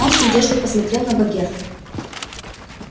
он с надеждой смотрел на богерта